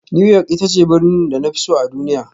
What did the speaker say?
New York ita ce birnin da na fi so a duniya